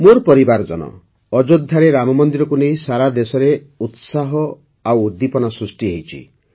ମୋର ପରିବାରଜନ ଅଯୋଧ୍ୟାରେ ରାମମନ୍ଦିରକୁ ନେଇ ସାରା ଦେଶରେ ଉତ୍ସାହ ଓ ଉଦ୍ଦୀପନା ସୃଷ୍ଟି ହୋଇଛି